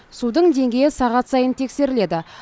судың деңгейі сағат сайын тексеріледі